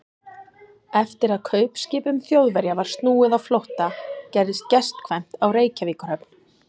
Eftir að kaupskipum Þjóðverja var snúið á flótta, gerðist gestkvæmt á Reykjavíkurhöfn.